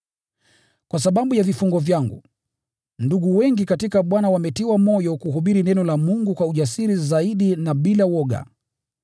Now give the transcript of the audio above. Kwa sababu ya vifungo vyangu, ndugu wengi katika Bwana wametiwa moyo kuhubiri neno la Mungu kwa ujasiri zaidi na bila woga.